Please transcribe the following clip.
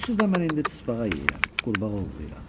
Onsuz da mən indi çısbağa yeyirəm, qurbağa ovlayıram.